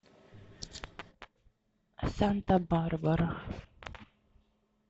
санта барбара